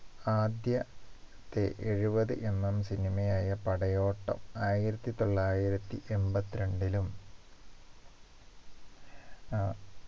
ആദ്യ ത്തെ എഴുപത് MMcinema യായ പടയോട്ടം ആയിരത്തി തൊള്ളായിരത്തി എൺപത്തി രണ്ടിലും ആഹ്